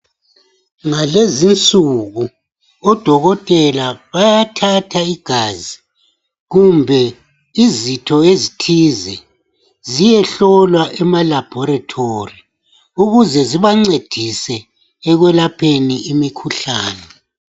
Ngalezi insuku odokotela bayathatha igazi kumbe izitho ezithize ziyehlolwa emalaboratory ukuze zibancedise ekwelapheni imikhuhlane.